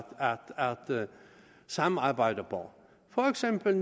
samarbejde på for eksempel